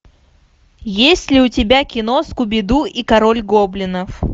есть ли у тебя кино скуби ду и король гоблинов